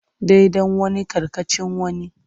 Daidan wani karkatccean wani.